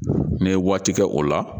N'i ye waati kɛ o la